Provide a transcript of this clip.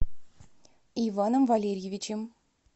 иваном валерьевичем